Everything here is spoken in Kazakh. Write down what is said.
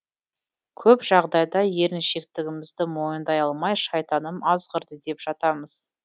көп жағдайда еріншектігімізді мойындай алмай шайтаным азғырды деп жатамыз